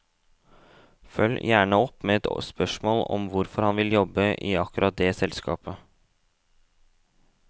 Følg gjerne opp med et spørsmål om hvorfor han vil jobbe i akkurat det selskapet.